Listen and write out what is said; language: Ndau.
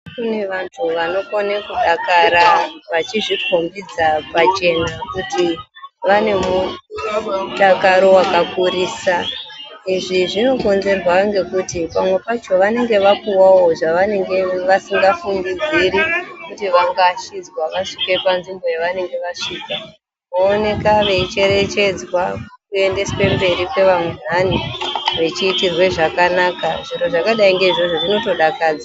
Kune vanhu vanokona kudakara vachizvikombidza pachena kuti vanemudakaro wakakurisa izvi zvinokonzerwa ngekuti pamwe pacho vanenge vapuwawo zvavasingafungidziri kuti vangaashidzwa vasvike panzvimbo yavanenge vasvika vooneka veicherechedzwa kuendeswe mberi kwevandani vechiitirwe zvakanaka zviro zvakadai ngeizvozvo zvinotodakadza.